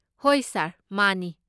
ꯍꯣꯏ ꯁꯥꯔ, ꯃꯥꯅꯤ꯫